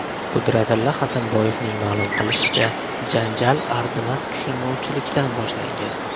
Qudratilla Hasanboyevning ma’lum qilishicha, janjal arzimas tushunmovchilikdan boshlangan.